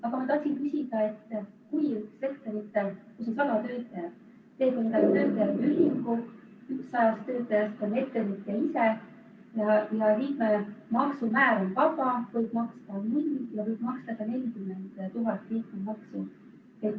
Aga ma tahtsin küsida, et kui on üks ettevõte, kus on 100 töötajat, ja tehakse nende töötajate ühing, seejuures üks 100 töötajast on ettevõtja ise, ja liikmemaksu määr on vaba, võib maksta null eurot, aga võib maksta ka 40 000 eurot liikmemaksu.